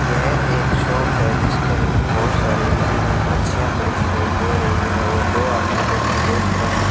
यह एक शॉप है जिसके अंदर बहुत सारी मरी हुई मच्छिया पड़ी दिखाई दे रही है और दो आदमी बैठे बेच रहे --